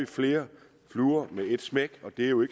flere fluer med et smæk og det er jo